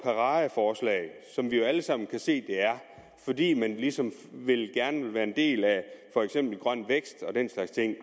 paradeforslag som vi jo alle sammen kan se det er fordi man ligesom gerne vil være en del af for eksempel grøn vækst og den slags ting